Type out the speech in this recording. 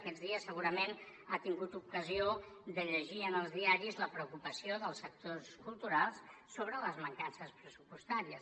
aquests dies segurament ha tingut ocasió de llegir en els diaris la preocupació dels sectors culturals sobre les mancances pressupostàries